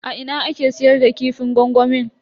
A ina ake siyar da kifin gwangwamin?